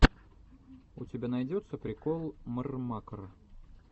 у тебя найдется прикол мррмакр